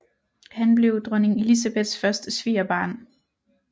Han blev dronning Elizabeths første svigerbarn